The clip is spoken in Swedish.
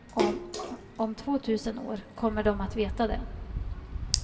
Om tvåtusen år kommer de att veta det.